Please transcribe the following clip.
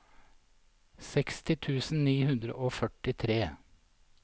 seksti tusen ni hundre og førtitre